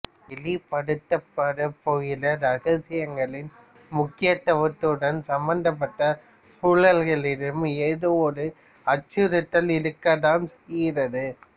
வெளிப்படுத்தப்படப்போகிற இரகசியங்களின் முக்கியத்துவத்துடன் சம்பந்தப்பட்ட சூழல்களிலும் ஏதோ ஒரு அச்சுறுத்தல் இருக்கத்தான் செய்கிறது